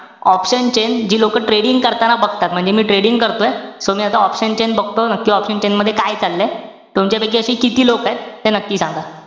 Option chain जी लोकं trading करताना बघतात. म्हणजे मी trading करतोय, pan मी आता option chain बघतोय, नक्की option chain मध्ये काय चाललंय. तुमच्यापैकी अशे किती लोकंयत. नक्की सांगा.